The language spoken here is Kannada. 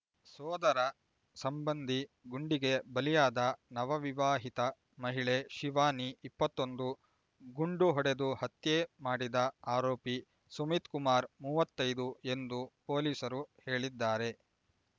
ಸೋದರ ಸಂಬಂಧಿ ಗುಂಡಿಗೆ ಬಲಿಯಾದ ನವವಿವಾಹಿತ ಮಹಿಳೆ ಶಿವಾನಿ ಇಪ್ಪತ್ತೊಂದು ಗುಂಡು ಹೊಡೆದು ಹತ್ಯೆ ಮಾಡಿದ ಆರೋಪಿ ಸುಮಿತ್ ಕುಮಾರ್ ಮೂವತೈದು ಎಂದು ಪೊಲೀಸರು ಹೇಳಿದ್ದಾರೆ